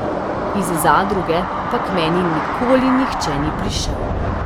Iz zadruge pa k meni nikoli nihče ni prišel.